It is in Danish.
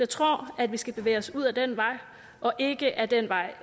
tror at vi skal bevæge os ud ad den vej og ikke ad den vej